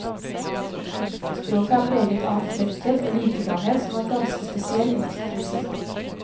Språket er preget av en frekkhet og likeframhet som er ganske spesiell i norsk poesi.